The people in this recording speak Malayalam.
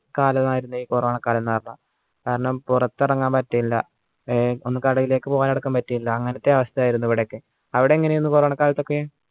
കാലം അയർന്നേ corona കാലമെന്നു പറഞ്ഞ കാരണം പുറത്തിറങ്ങാൻ പറ്റില്ല ഒന്ന് കടയിലെക്ക് പോകാം ആടക്കം പറ്റില്ല അങ്ങനത്തെ അവസ്ഥയായിരുന്നു ഇവിടെയൊക്കെ അവിടെ എങ്ങനെയെന്നു corona കാലത്തൊക്കെ